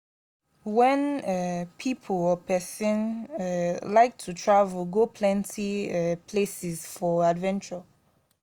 wen um pipo or person um like to travel go plenty um places for adventure